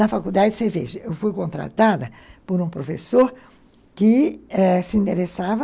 Na faculdade, você veja, eu fui contratada por um professor que eh se endereçava